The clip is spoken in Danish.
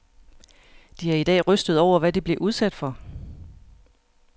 De er i dag rystede over, hvad de blev udsat for.